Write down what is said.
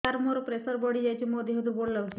ସାର ମୋର ପ୍ରେସର ବଢ଼ିଯାଇଛି ମୋ ଦିହ ଦୁର୍ବଳ ଲାଗୁଚି